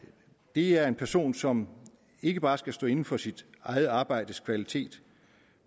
det er en person som ikke bare skal stå inde for sit eget arbejdes kvalitet